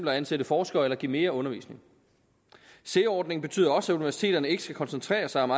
at ansætte forskere eller give mere undervisning sea ordningen betyder også at universiteterne ikke skal koncentrere sig om